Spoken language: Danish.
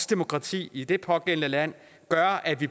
demokrati i det pågældende land gør at vi